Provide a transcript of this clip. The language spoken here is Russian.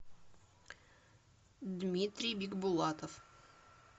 дмитрий бигбулатов